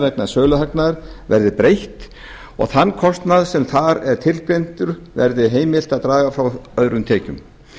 vegna söluhagnaðar verði breytt og þann kostnað sem þar er tilgreindur verði heimilt að draga frá öðrum tekjum